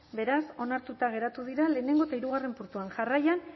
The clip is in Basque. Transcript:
beraz onartuta geratu dira lehenengo eta hirugarren puntuak jarraian